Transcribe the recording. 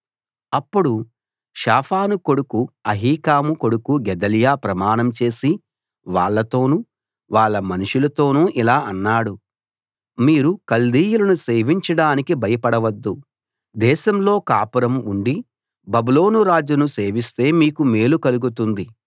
అప్పుడు షాఫాను కొడుకు అహీకాము కొడుకు గెదల్యా ప్రమాణంచేసి వాళ్ళతోనూ వాళ్ళ మనుషులతోనూ ఇలా అన్నాడు మీరు కల్దీయులను సేవించడానికి భయపడవద్దు దేశంలో కాపురం ఉండి బబులోను రాజును సేవిస్తే మీకు మేలు కలుగుతుంది